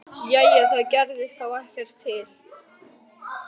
Jæja, það gerði þá ekkert til.